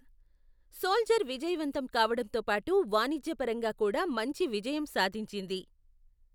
Soldier విజయవంతం కావడంతో పాటు వాణిజ్యపరంగా కూడా మంచి విజయం సాధించింది.